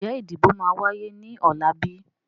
Ń jẹ́ ìdìbò máa wáyé ní ọ̀la bíi?